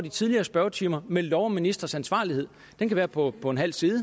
i tidligere spørgetimer med lov om ministres ansvarlighed den kan være på på en halv side